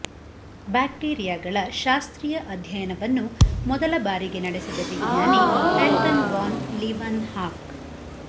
ಬ್ಯಾಕ್ಟೀರಿಯಾಗಳ ಶಾಸ್ತ್ರೀಯ ಅಧ್ಯಯನವನ್ನು ಮೊದಲ ಬಾರಿಗೆ ನಡೆಸಿದ ವಿಜ್ಞಾನಿ ಆಂಟನ್ ವಾನ್ ಲೀವನ್ ಹಾಕ್